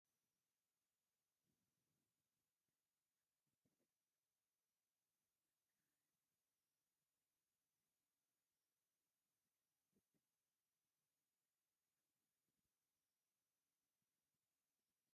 ብእምንን ሓመድ ዝትሰረሓ መካበብያ ሓፁር ዘሎ ኮይኑ ኣብ ውሸጡ ድማ ብጣዕሚ ዝብለ ገዛውቲ ኣለውሓምለዋይ ቦታ እውን ኣሎ ኣብ ምንታይ ቦታ ይመስለኩም?